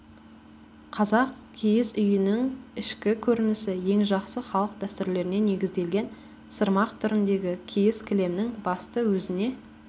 қазақ киіз үйінің ішкі көрінісі ең жақсы халық дәстүрлеріне негізделген сырмақ түріндегі киіз кілемнің басты өзіне